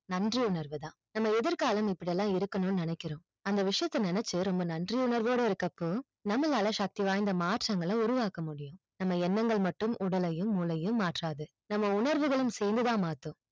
நன்றி உணர்வு தான் நம்ம எதிர் காலம் இப்படியெல்லாம் இருக்கனும் நினைக்கறோம் அந்த வீசியதை நினைச்சு ரொம்ப நன்றி உணர்வவோடு இருக்க போ நம்மளால சக்தி வாய்ந்த மாற்றங்கள் உருவாக்க முடியும் நம்ம எண்ணங்கள் மட்டும் உடலையும் மூளையும் மாற்றாது நம்ம உணர்வுகளும் சேர்த்து தான் மாட்டும்